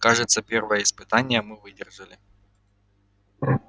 кажется первое испытание мы выдержали